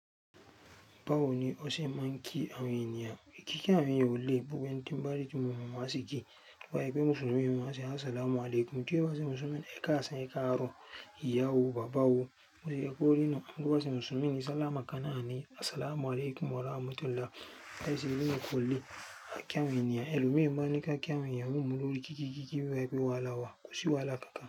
Báwo ni o ṣe ma ń kí àwọn ènìyàn. Kíkí àwọn èèyàn ò le, gbogbo ẹni tín bá rí tí mo mọ̀ ni máa ń sì kí bá yẹ pé Mùsùlùmí ni, ma ṣe "As-salamu alaykum" tí ó bá ṣe Mùsùlùmí ni, ẹ káàsán ẹ káàrọ̀, ìyá o, bàbá o. Bó yẹ kó rí nù, bó bá ṣe Mùsùlùmí ni, sàlámọ̀ kan náà ni "As-salamu alaykum wa rahmatullahi" láti ṣe eléyì kò le, a kí àwọn ènìyàn ẹlòmí máa ń ní ká kí àwọn èèyàn ní ìmúlò kíkí kíkí bí wa yẹ pé wàhálà wà, kò sí wàhálà kankan.